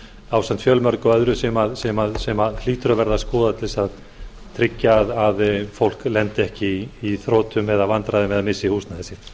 ásamt fjölmörgu öðru sem hlýtur að verða að skoða til þess að tryggja að fólk lendi ekki í þrotum eða vandræðum eða missi húsnæði sitt